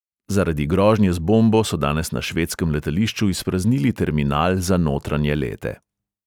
Zaradi grožnje z bombo so danes na švedskem letališču izpraznili terminal za notranje lete.